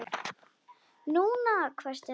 NÚNA! hvæsti hann.